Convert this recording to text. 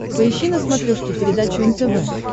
поищи на смотрешке передачу нтв